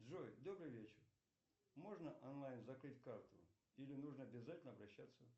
джой добрый вечер можно онлайн закрыть карту или нужно обязательно обращаться